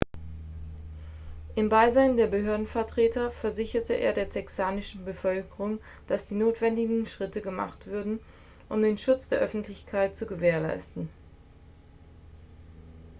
im beisein der behördenvertreter versicherte er der texanischen bevölkerung dass die notwendigen schritte gemacht würden um den schutz der öffentlichkeit zu gewährleisten